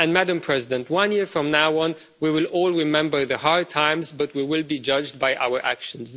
Madam President, one year from now on we will all remember the hard times but we will be judged by our actions.